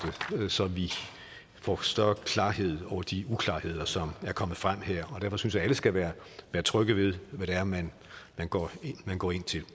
så vi får større klarhed over de uklarheder som er kommet frem her jeg synes at alle skal være trygge ved hvad det er man går man går ind til